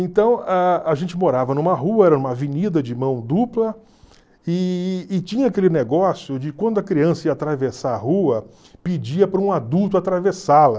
Então, a a gente morava numa rua, era uma avenida de mão dupla, e e tinha aquele negócio de quando a criança ia atravessar a rua, pedia para um adulto atravessá-la.